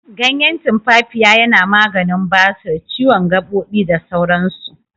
Ganyen tumfafiya yana maganin basir, ciwon gaɓoɓi, da sauran su.